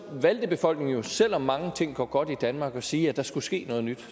valgte befolkningen selv om mange ting går godt i danmark at sige at der skulle ske noget nyt